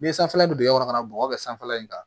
Ni sanfɛla bɛ dingɛ kɔnɔ ka bɔgɔ kɛ sanfɛla in kan